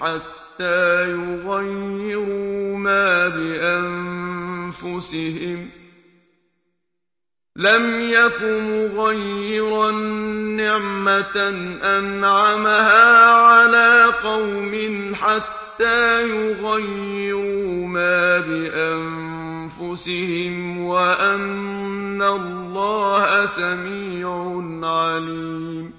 حَتَّىٰ يُغَيِّرُوا مَا بِأَنفُسِهِمْ ۙ وَأَنَّ اللَّهَ سَمِيعٌ عَلِيمٌ